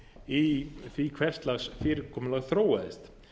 í því hvers lags fyrirkomulag þróaðist